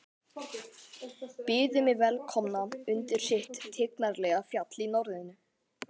Byðu mig velkomna undir sitt tignarlega fjall í norðrinu.